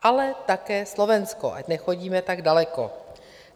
Ale také Slovensko, ať nechodíme tak daleko.